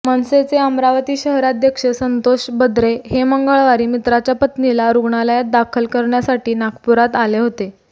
मनसेचे अमरावती शहराध्यक्ष संतोष बद्रे हे मंगळवारी मित्राच्या पत्नीला रुग्णालयात दाखल करण्यासाठी नागपुरात आले होते